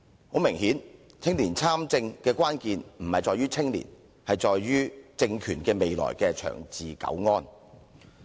很明顯，青年參政的關鍵不在於青年，而是在於政權未來的長治久安。